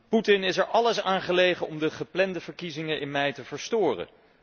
Putin is er alles aan gelegen om de geplande verkiezingen in mei te verstoren.